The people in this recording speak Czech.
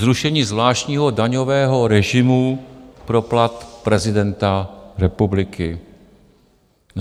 Zrušení zvláštního daňového režimu pro plat prezidenta republiky.